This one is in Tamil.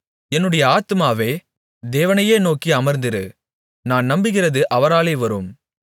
என்னுடைய ஆத்துமாவே தேவனையே நோக்கி அமர்ந்திரு நான் நம்புகிறது அவராலே வரும்